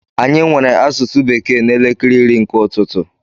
Anyị nwere asụsụ bekee n'elekere iri nke ụtụtụ.